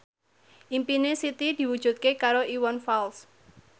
impine Siti diwujudke karo Iwan Fals